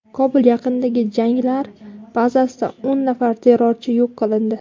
Kobul yaqinidagi jangarilar bazasida o‘n nafar terrorchi yo‘q qilindi.